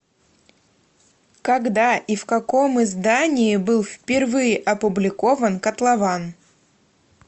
когда и в каком издании был впервые опубликован котлован